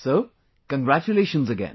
So, Congratulations again